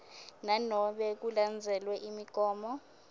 nanobe kulandzelwe imigomo